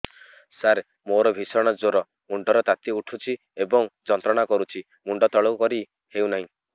ସାର ମୋର ଭୀଷଣ ଜ୍ଵର ମୁଣ୍ଡ ର ତାତି ଉଠୁଛି ଏବଂ ଯନ୍ତ୍ରଣା କରୁଛି ମୁଣ୍ଡ ତଳକୁ କରି ହେଉନାହିଁ